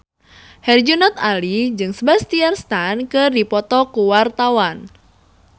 Herjunot Ali jeung Sebastian Stan keur dipoto ku wartawan